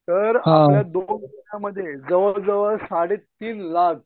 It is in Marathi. तर आपल्या दोन महिन्यांमध्ये जवळ जवळ साडे तिन लाख